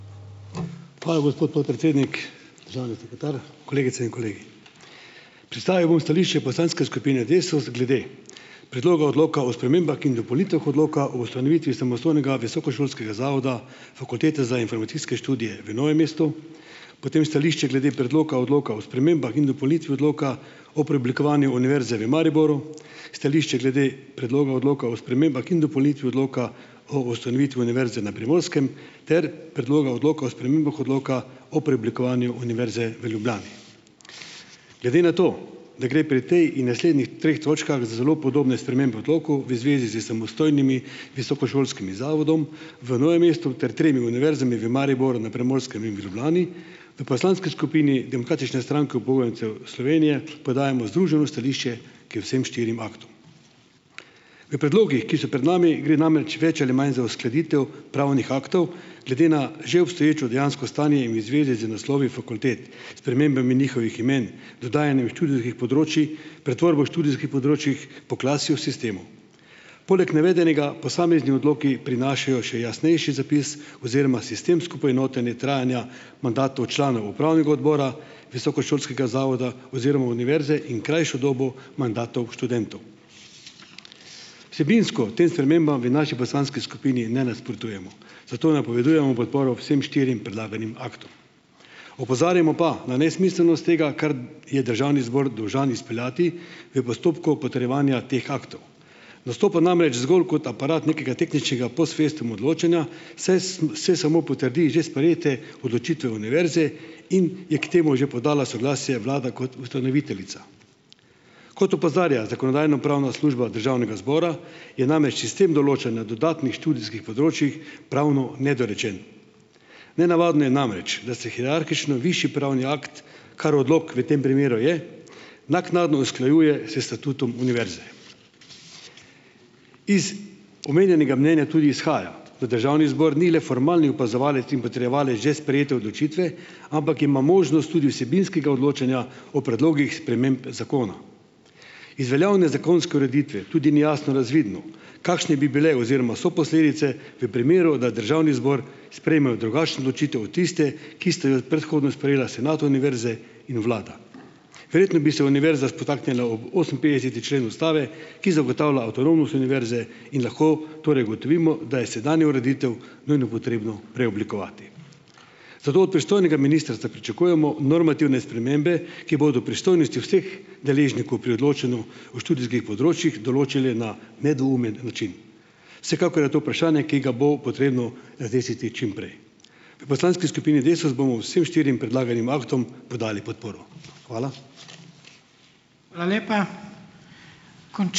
Hvala, gospod podpredsednik. Državni sekretar, kolegice in kolegi. Predstavil bom stališče poslanske skupine Desus glede Predloga odloka o spremembah in dopolnitvah Odloka o ustanovitvi samostojnega visokošolskega zavoda Fakultete za informacijske študije v Novem mestu, potem stališče glede Predloka odloka o spremembah in dopolnitvi Odloka o preoblikovanju Univerze v Mariboru, stališče glede Predloga odloka o spremembah in dopolnitvi Odloka o ustanovitvi Univerze na Primorskem ter Predloga odloka o spremembah Odloka o preoblikovanju Univerze v Ljubljani. Glede na to, da gre pri tej in naslednjih treh točkah za zelo podobne spremembe odlokov v zvezi s samostojnim visokošolskim zavodom v Novem mestu ter tremi univerzami, v Mariboru, na Primorskem in v Ljubljani, v poslanski skupini Demokratične stranke upokojencev Slovenije podajamo združeno stališče k vsem štirim aktom. V predlogih, ki so pred nami, gre namreč več ali manj za uskladitev pravnih aktov glede na že obstoječo dejansko stanje in v zvezi z naslovi fakultet, spremembami njihovih imen, dodajanjem študijskih področij, pretvorbo študijskih področij po klasju sistemov. Poleg navedenega posamezni odloki prinašajo še jasnejši zapis oziroma sistemsko poenotenje trajanja mandatov članov upravnega odbora visokošolskega zavoda oziroma univerze in krajšo dobo mandatov študentov. Vsebinsko tem spremembam v naši poslanski skupini ne nasprotujemo, zato napovedujemo podporo vsem štirim predlaganim aktom. Opozarjamo pa na nesmiselnost tega, kar je državni zbor dolžan izpeljati v postopku potrjevanja teh aktov nastopa namreč zgolj kot aparat nekega tehničnega post festum odločanja, saj saj samo potrdi že sprejete odločitve univerze in je k temu že podala soglasje vlada kot ustanoviteljica. Kot opozarja Zakonodajno-pravna služba Državnega zbora, je namreč sistem določanja dodatnih študijskih področjih pravno nedorečen. Nenavadno je namreč, da se hierarhično višji pravni akt, kar odlok v tem primeru je, naknadno usklajuje s statutom univerze. Iz omenjenega mnenja tudi izhaja, da državni zbor ni le formalni opazovalec in potrjevalec že sprejete odločitve, ampak ima možnost tudi vsebinskega odločanja o predlogih sprememb zakona. Iz veljavne zakonske ureditve tudi ni jasno razvidno, kakšne bi bile oziroma so posledice v primeru, da državni zbor sprejme drugačno odločitev od tiste, ki sta jo predhodno sprejela senat univerze in vlada. Verjetno bi se univerza spotaknila ob oseminpetdeseti člen ustave, ki zagotavlja avtonomnost univerze, in lahko torej ugotovimo, da je sedanjo ureditev nujno potrebno preoblikovati. Zato od pristojnega ministrstva pričakujemo normativne spremembe, ki bodo pristojnosti vseh deležnikov pri odločanju o študijskih področjih določile na nedvoumen način. Vsekakor je to vprašanje, ki ga bo potrebno razrešiti čim prej. V poslanski skupini Desus bomo vsem štirim predlaganim aktom podali podporo. Hvala.